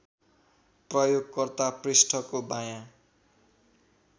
प्रयोगकर्ता पृष्ठको बायाँ